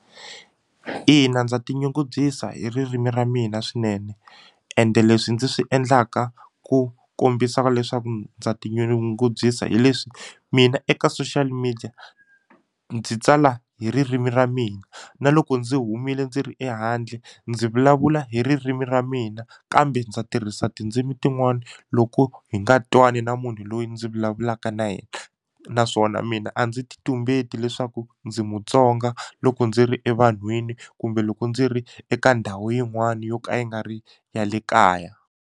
Ina ndza tinyungubyisa hi ririmi ra mina swinene ende leswi ndzi swi endlaka ku kombisa leswaku ndza tinyungubyisa hi leswi mina eka social media ndzi tsala hi ririmi ra mina na loko ndzi humile ndzi ri ehandle ndzi vulavula hi ririmi ra mina kambe ndza tirhisa tindzimi tin'wani loko hi nga twani na munhu loyi ndzi vulavulaka na yena naswona mina a ndzi ti tumbetini leswaku ndzi Mutsonga loko ndzi ri evanhwini kumbe loko ndzi ri eka ndhawu yin'wani yo ka yi nga ri ya le kaya.